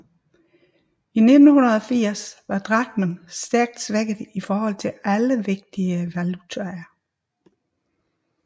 I 1980 var drakmen stærkt svækket i forhold til alle vigtige valutaer